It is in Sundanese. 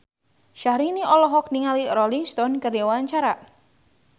Syahrini olohok ningali Rolling Stone keur diwawancara